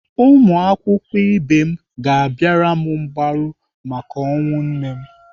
Ụmụakwụkwọ ibe m ga-abịara m mgbaru maka ọnwụ nne m.